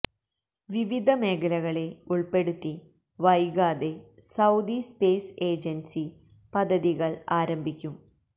വിവിധ മേഖലകളെ ഉൾപ്പെടുത്തി വൈകാതെ സൌദി സ്പേസ് ഏജൻസി പദ്ധതികള് ആരംഭിക്കും